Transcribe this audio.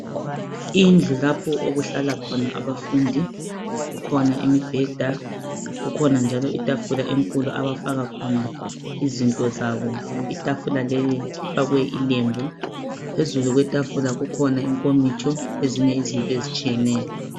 Indlu lapho okuhlala khona abafundi kukhona imibheda kukhona njalo itafula enkulu abafaka khona izinto zabo itafula leli kufakwe ilembu phezulu kwetafula kukhona inkomitsho ezinye izinto ezitshiyeneyo.